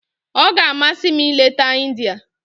Ọ ga-amasị m ileta India.